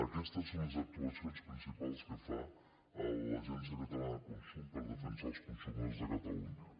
aquestes són les actuacions principals que fa l’agència catalana de consum per defensar els consumidors de catalunya